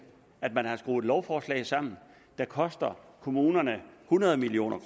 at man har skruet et lovforslag sammen der koster kommunerne hundrede million